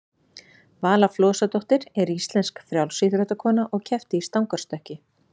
vala flosadóttir er íslensk frjálsíþróttakona og keppti í stangarstökki